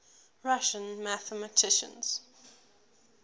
russian mathematicians